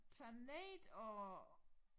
Planet og